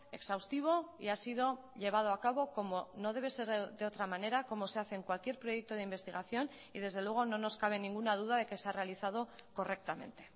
exhaustivo y ha sido llevado a cabo como no debe ser de otra manera como se hace en cualquier proyecto de investigación y desde luego no nos cabe ninguna duda de que se ha realizado correctamente